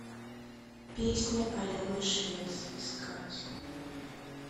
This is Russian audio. песня алены швец искать